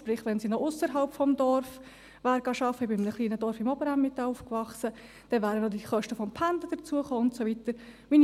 Sprich, wenn sie auch noch ausserhalb des Dorfes gearbeitet hätte – ich wuchs in einem kleinen Dorf im Oberen Emmental auf –, wären die Kosten fürs Pendeln und so weiter hinzugekommen.